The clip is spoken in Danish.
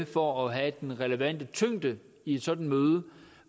for at have den relevante tyngde i et sådan møde